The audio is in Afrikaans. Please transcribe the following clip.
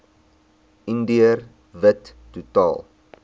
indiër wit totaal